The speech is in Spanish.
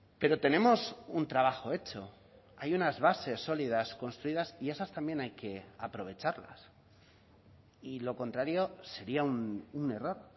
pero tenemos un trabajo hecho hay unas bases sólidas construidas y esas también hay que aprovecharlas y lo contrario sería un error